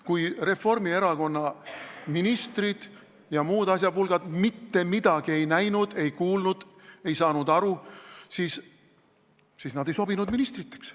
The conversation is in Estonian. Kui Reformierakonna ministrid ja muud asjapulgad mitte midagi ei näinud, ei kuulnud, ei saanud aru, siis nad ei sobinud ministriteks.